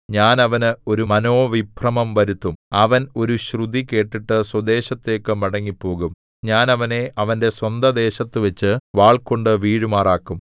ഞാൻ അവന് ഒരു മനോവിഭ്രമം വരുത്തും അവൻ ഒരു ശ്രുതി കേട്ടിട്ട് സ്വദേശത്തേക്കു മടങ്ങിപ്പോകും ഞാൻ അവനെ അവന്റെ സ്വന്തദേശത്തുവച്ചു വാൾകൊണ്ടു വീഴുമാറാക്കും